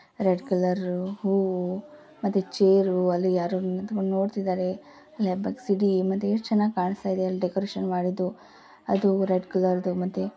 Red colour ಹೂವು ಮತ್ತೆ chair ಅಲ್ಲಿ ಯಾರೋ ನಿಂಥಂಕೊಂಡು ನೋಡ್ತಿದಾರೆ. ಮತ್ತೆ ಎಷ್ಟ್ ಚೆನ್ನಾಗಿ ಕಾನಿಸ್ತಾಯಿದೆ ಅಲ್ಲಿ ಡೆಕೋರೇಷನ್ ಮಾಡಿದ್ದು. ಅದು ರೆಡ್ ಕಲರ್ದು ಮತ್ತೆ --